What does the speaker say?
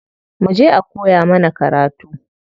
Muje a koya mana karatu.